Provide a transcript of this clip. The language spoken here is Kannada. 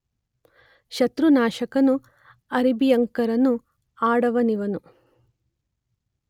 ಶತ್ರುನಾಶಕನೂ ಅರಿಭಯಂಕರನೂ ಆದವನಿವನು.